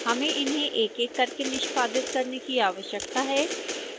हमें इन्हें एकएक करके निष्पादित करने की आवश्यकता है